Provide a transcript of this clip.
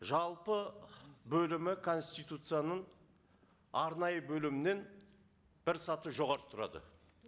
жалпы бөлімі конституцияның арнайы бөлімінен бір саты жоғары тұрады